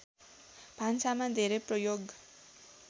भान्सामा धेरै प्रयोग